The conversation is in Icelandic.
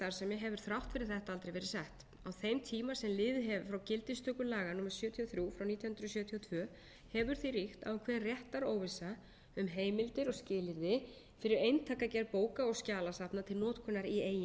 eigin starfsemi hefur þrátt fyrir þetta aldrei verið sett á þeim tíma sem liðið hefur frá gildistöku laga númer sjötíu og þrjú nítján hundruð sjötíu og tvö hefur því ríkt ákveðin réttaróvissa um heimildir og skilyrði fyrir eintakagerð bóka og skjalasafna til notkunar í eigin